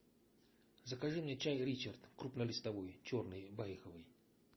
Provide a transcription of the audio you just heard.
закажи мне чай ричард крупнолистовой черный байховый